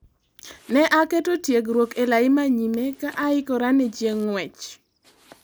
Ne aketo tiegruok ee lai manyime ka aikora ne chieng' ng'wech